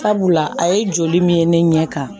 Sabula a ye joli min ye ne ɲɛ kan